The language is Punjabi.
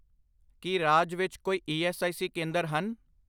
ਕੀ ਰਾਜ ਵਿੱਚ ਕੋਈ ਈ ਐੱਸ ਆਈ ਸੀ ਕੇਂਦਰ ਹਨ ?